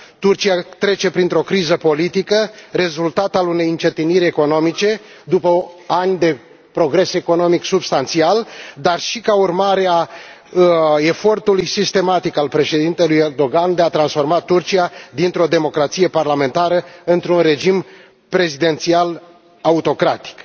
Turcia trece printr o criză politică, rezultat al unei încetiniri economice, după ani de progres economic substanțial, dar și ca urmare a efortului sistematic al președintelui Erdogan de a transforma Turcia dintr o democrație parlamentară într un regim prezidențial autocratic.